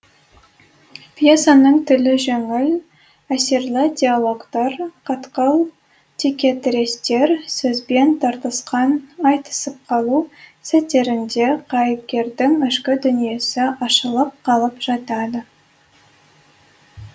пьессаның тілі жеңіл әсерлі диалогтар қатқыл текетірестер сөзбен тартысқан айтысып қалу сәттерінде кейіпкердің ішкі дүниесі ашылып қалып жатады